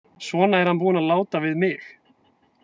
Svona er hann búinn að láta við mig.